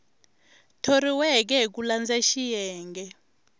thoriweke hi ku landza xiyenge